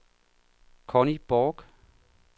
Conni Borch